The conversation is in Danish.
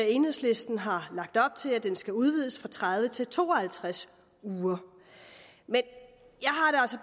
enhedslisten har lagt op til er at den skal udvides fra tredive til to og halvtreds uger men